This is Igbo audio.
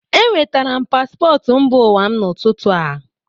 Enwetara paspọtụ mba ụwa m n'ụtụtụ a.